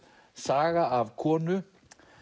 saga af konu